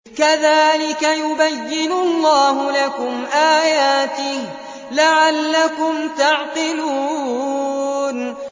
كَذَٰلِكَ يُبَيِّنُ اللَّهُ لَكُمْ آيَاتِهِ لَعَلَّكُمْ تَعْقِلُونَ